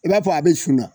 I b'a fɔ a bɛ sun na